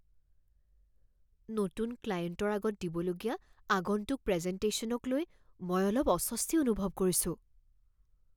নতুন ক্লায়েণ্টৰ আগত দিবলগীয়া আগন্তুক প্ৰেজেনটেশ্যনক লৈ মই অলপ অস্বস্তি অনুভৱ কৰিছোঁ।